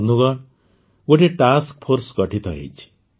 ବନ୍ଧୁଗଣ ଗୋଟିଏ task force ଗଠିତ ହୋଇଛି